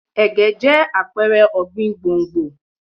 Ẹ̀gẹ́ jẹ́ àpẹrẹ ọ̀gbìn gbòǹgbò.